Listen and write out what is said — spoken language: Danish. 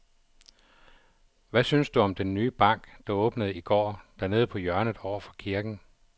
Hvad synes du om den nye bank, der åbnede i går dernede på hjørnet over for kirken?